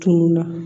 Tunu na